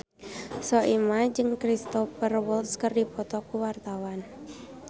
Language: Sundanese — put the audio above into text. Soimah jeung Cristhoper Waltz keur dipoto ku wartawan